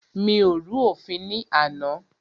Mi ò rú òfin ní àná.